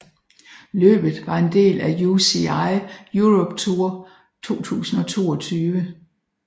Løbet var en del af UCI Europe Tour 2022